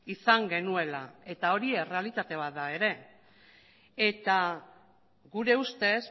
izan genuela eta hori errealitate bat da ere eta gure ustez